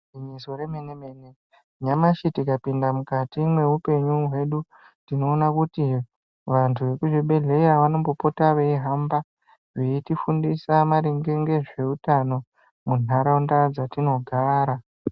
Igwinyiso remene mene nyamashi tikapinda mukati mweupenyu hwedu tinoona kuti vantu vekuzvibhedhleya vanombopota veihamba veitifundisa maringe ngezveutano muntaraunda dzatinogara.